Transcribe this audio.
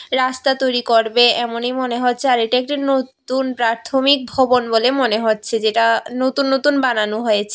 রাস্তা তৈরি করবে এমনই মনে হচ্ছে আর এটা একটি নতুন প্রাথমিক ভবন বলে মনে হচ্ছে যেটা নতুন নতুন বানানো হয়েছে।